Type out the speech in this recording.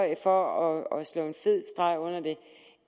jeg for at sætte en fed streg under det